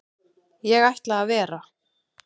Ég ætla að vera.